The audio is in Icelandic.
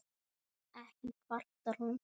Ekki kvartar hún